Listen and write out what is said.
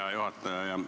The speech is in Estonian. Hea juhataja!